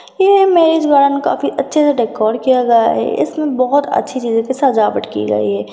यह मेजबान काफी अच्छी तरह से डेकोर किया गया है इसमें बोहोत अच्छी चीजों से सजावट की गई है।